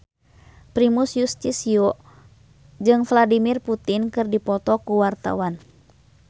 Primus Yustisio jeung Vladimir Putin keur dipoto ku wartawan